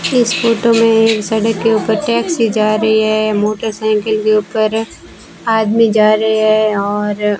इस फोटो में एक सड़क के ऊपर टैक्सी जा रही है मोटरसाइकल के ऊपर आदमी जा रहे हैं और --